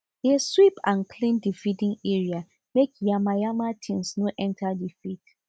dey sweep and clean the feeding area make yamayama things no enter the feed